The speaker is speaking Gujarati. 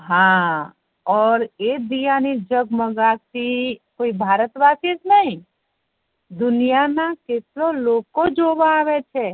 હા ઔર એ દીવા ની જગ્મેગાહટ થી કોઈ ભારત વાસી જ નહિ દુનિયા ના કેટલા લોકો જો વ આવે છે